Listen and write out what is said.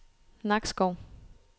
Nakskov